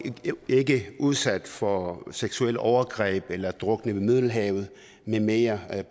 ikke udsat for seksuelle overgreb eller drukner i middelhavet med mere